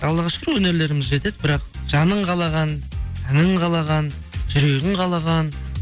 аллаға шүкір өнерлеріміз жетеді бірақ жаның қалаған әнің қалаған жүрегің қалаған